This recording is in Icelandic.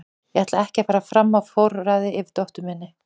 Ég ætla ekki að fara fram á að fá forræðið yfir dóttur minni.